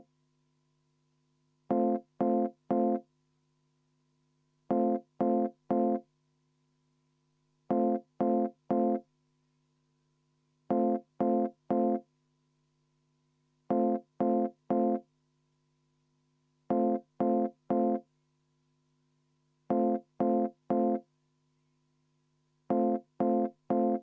Palun Eesti Konservatiivse Rahvaerakonna nimel panna see muudatusettepanek hääletusele.